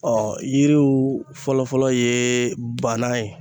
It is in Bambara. yiriw fɔlɔ-fɔlɔ ye bana ye